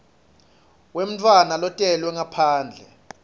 wemntfwana lotelwe ngaphandle